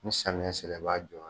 Ni samiyɛ sera i b'a jɔ yɛrɛ